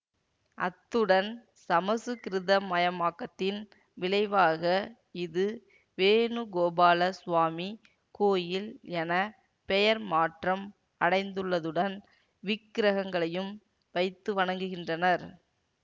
அத்துடன் சமசுக்கிருதமயமாக்கத்தின் விளைவாக இது வேணுகோபால சுவாமி கோயில் என பெயர் மாற்றம் அடைந்துள்ளதுடன் விக்கிரகங்களையும் வைத்து வணங்குகின்றனர்